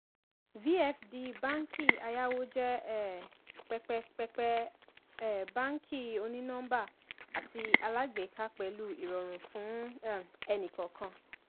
vfd báàǹkì ayáwó jẹ um pẹpẹ pẹpẹ um báàǹkì òní-nọ́ḿbà àti alágbèéká pẹlu ìrọ̀rùn fún um ẹnì-kọ̀ọ̀kan.